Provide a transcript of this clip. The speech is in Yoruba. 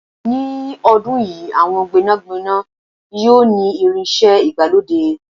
ní ọdún yìí, àwọn gbénàgbénà yíò ni irinṣẹ́ ìgbàlódé